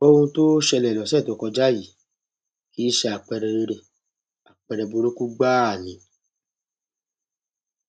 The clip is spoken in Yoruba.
ohun tó ṣẹlẹ lọsẹ tó kọjá yìí kì í ṣe àpẹẹrẹ rere àpẹẹrẹ burúkú gbáà ni